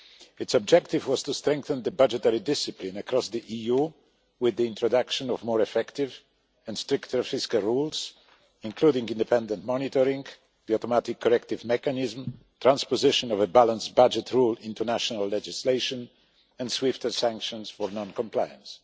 Its objective was to strengthen budgetary discipline across the EU, with the introduction of more effective and stricter fiscal rules, including independent monitoring, the automatic corrective mechanism, transposition of a balanced budget rule into national legislation, and swifter sanctions for non compliance.